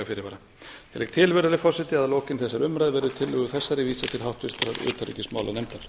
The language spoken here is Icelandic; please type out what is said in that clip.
fyrirvara ég legg til virðulegi forseti að lokinni þessari umræðu verði tillögu þessari vísað til háttvirtrar utanríkismálanefndar